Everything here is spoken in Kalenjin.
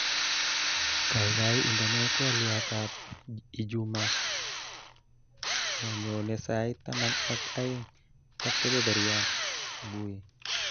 Kaikai indenee twoliotab ijuma nenyone sait taman ak aeng ak kebeberyat subui